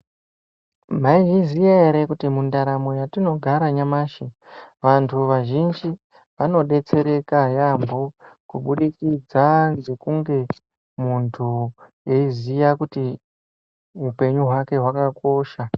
Maizviziya ere kuti mundaramo yatinogara nyamashi vantu vazhinji vanodetsereka yaambo kubudikidza ngekunge muntu eiziya kuti upenyu hwake hwakakosha.